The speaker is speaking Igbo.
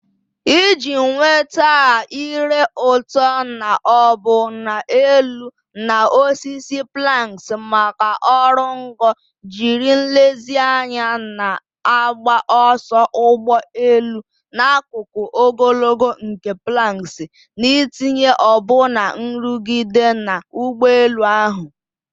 Iji nweta a ire ụtọ na ọbụna elu na osisi planks maka oru ngo, jiri nlezianya na-agba ọsọ ụgbọ elu n'akụkụ ogologo nke planks, n'itinye ọbụna nrụgide na ụgbọelu ahụ.